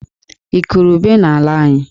Ị kụrụ ube n'ala anyị?